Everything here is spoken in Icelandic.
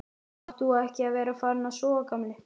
Átt þú ekki að vera farinn að sofa, gamli?